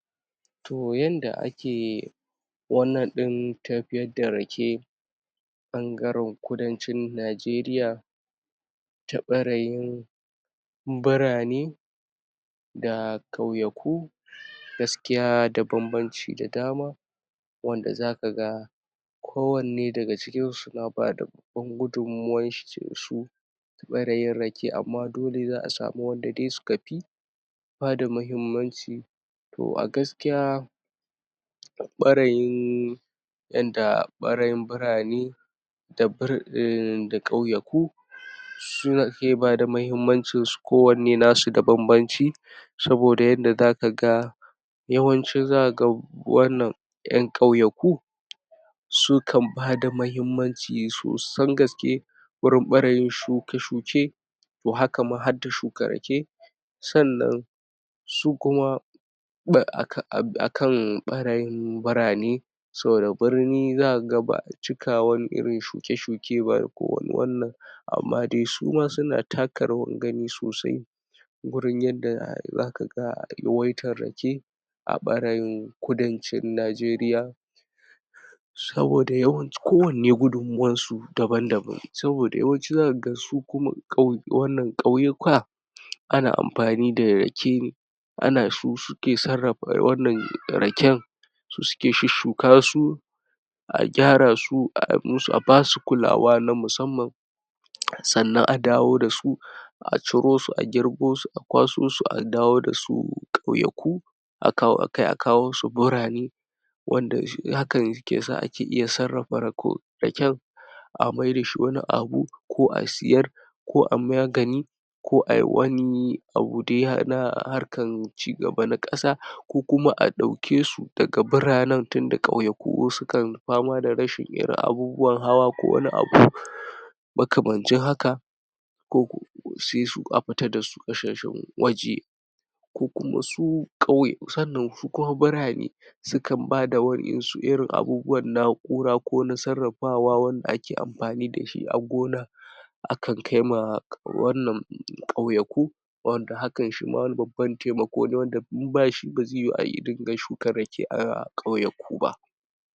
To, yanda ake wannan ɗin tafiyar da rake, ɓangaren kudancin Najeriya, ta ɓarayin burane, da ƙauyaku, gaskiya da bambanci da adama, wanda zaka ga ko wanne daga cikin su na bada na bada gudummuwan shi ta ɓarayin rake, amma dole za a samu wanda dai suka fi bada muhimmanci. To, a gaskiya ɓarayin yanda ɓarayin burane, da ƙauyaku su ke bada muhimmancin su, ko wanne nasu da bambanci, saboda yadda zaka ga yawanci zaka ga wannan, ƴan ƙauyaku su kan bada muhimmanci sosan gaske, gurin ɓarayin shuke-shuke, to, haka ma hadda shuka rake. Sannan su kuma a kan ɓarayin burane, saboda burni za kaga ba a cika irin waannan, shuke-shuke ko wani wannan, amma dai su ma suna taka rawan gani sosai, gurin yanda zaka ga yawaitan rake, a ɓarayin kudancin Najeriya, saboda yawanci ko wanne gudummuwan su daban-daban, saboda yawanci zaka ga su kuma ƙauyuka, ana amfani da rake, ana su suke sarrafa raken, su suke shushshuka su, a gyara su, a basu kulawa na musamman, sannan a dawo dasu, a ciro su, a girbo su, a kwaso su, a dawo dasu ƙauyaku, kai a kawo su burane, wanda shi hakan yake sa ake iya sarrafa raken, a maida shi wani abu, ko a siyar, ko ai magani, ko ayi wani abu da ya haɗa harkan cigaba na ƙasa, ko kuma a ɗauke su daga buranen, tunda ƙauyaku wasu kan fama da rashin irin abubuwan hawa, ko wani abu makamancin haka, ko sai a futa dasu ƙasashen waje, sannan su kuma burane, sukan bada wa'insu irin abubuwan na'ura, ko na sarrafawa, wanda ake amfani dashi a gona, a kan kai ma ƙauyaku, wanda hakan shi ma wani babban taimako ne, wanda in bashi ba zai yuyu a ringa shukan rake a ƙauyaku ba.